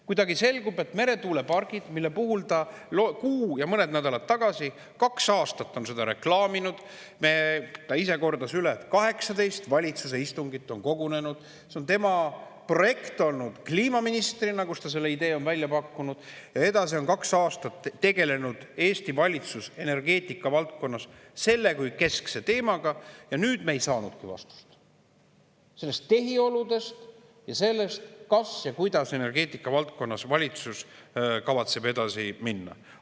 Kuidagi selgub, et kuigi meretuuleparke reklaamis ta kaks aastat kuu ja mõned nädalad tagasi – ta ise kordas üle, et 18 valitsuse istungil on kogunetud –, see on olnud tema projekt kliimaministrina, kellena ta selle idee välja pakkus, ja edasi tegeles Eesti valitsus energeetika valdkonnas kaks aastat selle kui keskse teemaga, siis nüüd me ei saanudki vastust tehiolude ja selle kohta, kuidas valitsus kavatseb energeetika valdkonnas edasi minna.